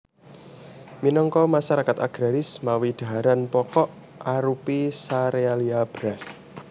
Minangka masarakat agraris mawi dhaharan pokok arupi serealia beras